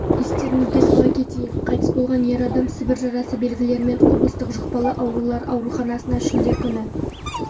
естеріңізге сала кетейік қайтыс болған ер адам сібір жарасы белгілерімен облыстық жұқпалы аурулар ауруханасына шілде күні